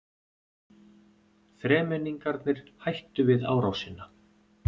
Þremenningarnir hættu við árásina.